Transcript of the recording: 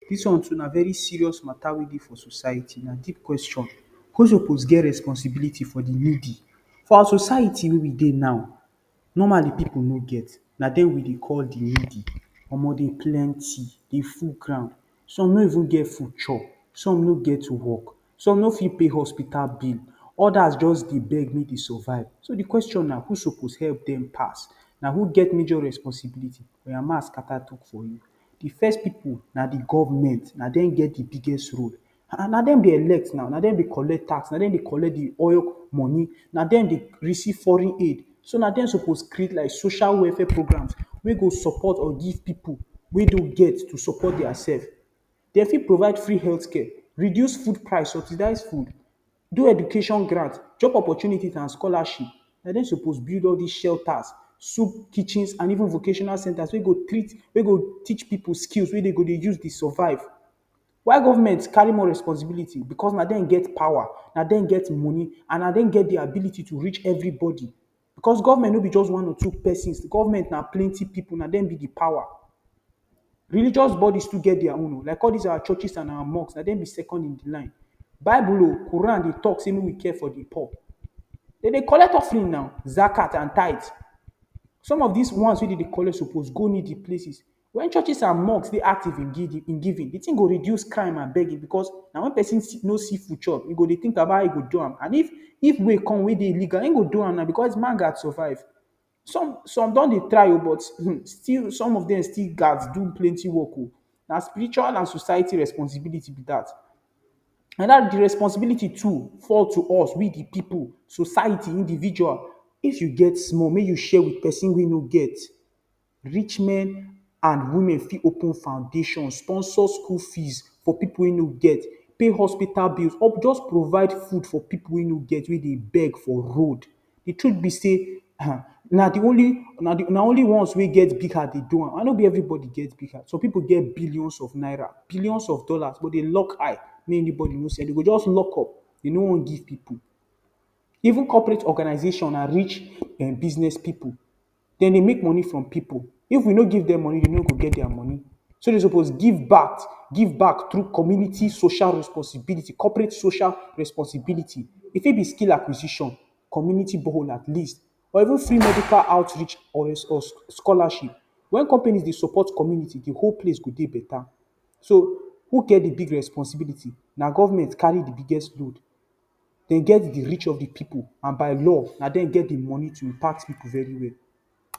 Did one na very serious mata wey dey for society na deep question. Who suppose get responsibility for de needy. For our society wey dey now normally people no get, na dem we dey call di needy omoh dem plenty dey full ground some no even get food chop, some no get to work, some no fit even pay hospital bill, others just dey beg mey dey survive. So, di question na who suppose help dem pass? Na who get major responsibility? Oya, make I scatter talk for you. De first pipul na de government, na dem get de biggest role. um, na dem dey elect now, na dem dey collect taxes, na dem dey collect de oil money, na dem dey receive foreign aid. So na dem suppose create like social welfare programmes wey go support or give pipul wey no get to support their selves. Dey fit provide free health care, reduce food price, subsidize food, do educate grant, job opportunities and scholarship. Na dem suppose build all these shelters, soup kitchens and even vocational centres wey go teach pipul skills wey dem go dey use survive. Why government carry more responsibility? Because na dem get pawa, na dem get moni, and na dem get de ability to reach everybody. Because government no be just one or two persons, government na plenty pipul na dem be de pawa. Religious body too get their own o, like all these our churches and our mosque, na dem be second in the line. Bible o, Quran o dey talk say make we care for the poor. Dem dey collect offering now, zakat and tithe. Some of these ones wey dem dey collect suppose go needy places, when churches and mosques dey active in giving, de thing go reduce crime and begging. Because na wen person no see food chop e go dey think about how e go do am and if way come wey dey illegal im go do am na because man gas survive. Some don dey try but some of dem still gas do plenty work o, na spiritual and society responsibility be dat. And de responsibility too fall to us, we the pipul, society individual, if you get small make you share with person wey no get. Rich men and women fit open foundation, sponsor school fees for pipul wey no get, pay hospital bills or just provide food for pipul wey no get wey dey beg for road. De truth be say, na ones wey get big heart dey do am, and no be everybody get big heart. Some pipul get billions of naira, billions of dollars but dem lock eye make anybody no see, dey go just lock up dem no wan give pipul. Even corporate organization and rich business pipul dem dey make moni from pipul if we no give dem moni dey no go get their moni. So dem suppose give back through community social responsibility, corporate social responsibility, e fit be skill acquisition, community borehole at least, or even free medical outreach or scholarship. Wen companies dey support community de whole place go dey better. So, who get de big responsibility, na government carry the biggest load dem get de rich of de pipul and by law na dem get the moni to impact pipul well well.